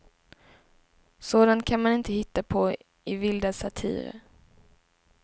Sådant kan man inte hitta på i vilda satirer.